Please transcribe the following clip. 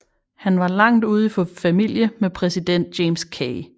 Han var langt ude i familie med præsident James K